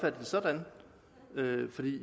det sådan